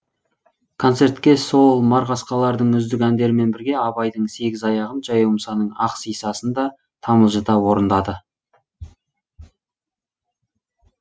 концертке сол марғасқалардың үздік әндерімен бірге абайдың сегіз аяғын жаяу мұсаның ақ сисасын да тамылжыта орындады